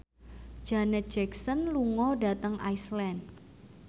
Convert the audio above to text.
Janet Jackson lunga dhateng Iceland